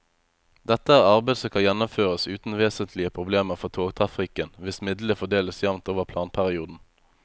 Dette er arbeid som kan gjennomføres uten vesentlige problemer for togtrafikken hvis midlene fordeles jevnt over planperioden.